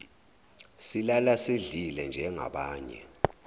silala sidlile njengabanye